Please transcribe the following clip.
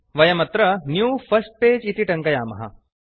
वयमत्र new first page इति टङ्कयामः